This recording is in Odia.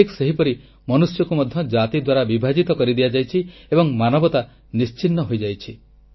ଠିକ୍ ସେହିପରି ମନୁଷ୍ୟକୁ ମଧ୍ୟ ଜାତି ଦ୍ୱାରା ବିଭାଜିତ କରି ଦିଆଯାଇଛି ଏବଂ ମାନବତା ନିଶ୍ଚିହ୍ନ ହୋଇଯାଇଛି